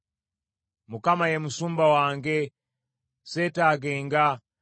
Mukama ye Musumba wange, seetaagenga.